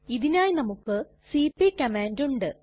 ഇതിനായി നമുക്ക് CP command ഉണ്ട്